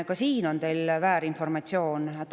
Ka selle kohta on teil väärinformatsioon.